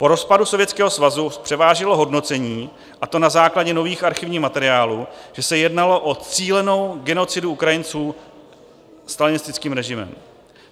Po rozpadu Sovětského svazu převážilo hodnocení, a to na základě nových archivních materiálů, že se jednalo o cílenou genocidu Ukrajinců stalinistickým režimem.